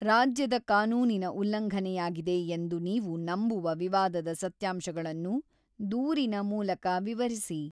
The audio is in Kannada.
ರಾಜ್ಯದ ಕಾನೂನಿನ ಉಲ್ಲಂಘನೆಯಾಗಿದೆ ಎಂದು ನೀವು ನಂಬುವ ವಿವಾದದ ಸತ್ಯಾಂಶಗಳನ್ನು ದೂರಿನ ಮೂಲಕ ವಿವರಿಸಿ.